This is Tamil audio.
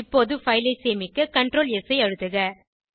இப்போது பைல் ஐ சேமிக்க Ctrl ஸ் ஐ அழுத்துக